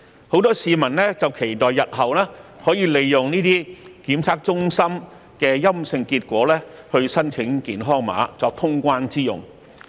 很多市民期待日後可以利用這些檢測中心提供的陰性檢測結果申請健康碼，作過關之用。